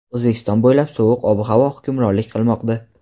O‘zbekiston bo‘ylab sovuq ob-havo hukmronlik qilmoqda.